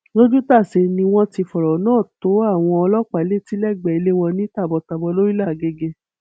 lójútàsé ni wọn ti fọrọ náà tó àwọn ọlọpàá létí lẹgbẹẹ ilé wọn ní tàbọntàbọn lọrílẹ àgègè